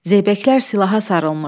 Zeybəklər silaha sarılmış.